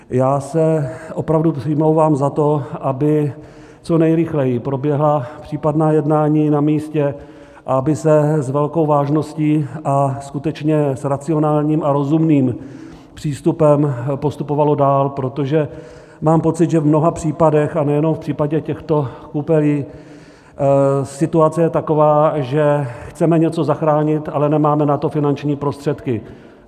Já se opravdu přimlouvám za to, aby co nejrychleji proběhla případná jednání na místě a aby se s velkou vážností a skutečně s racionálním a rozumným přístupem postupovalo dál, protože mám pocit, že v mnoha případech, a nejenom v případě těchto Koupelí, situace je taková, že chceme něco zachránit, ale nemáme na to finanční prostředky.